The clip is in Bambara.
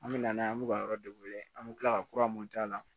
An bɛ na n'a ye an bɛ ka yɔrɔ de wele an bɛ tila ka kura mun k'a la